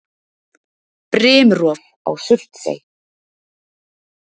Brimrof á Surtsey.